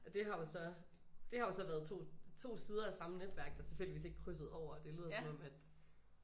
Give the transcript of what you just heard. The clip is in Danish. Og det har jo så det har jo så været 2 2 sidder af samme netværk der tilfældigvis ikke krydsede over det lyder som om at